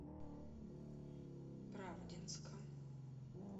правдинска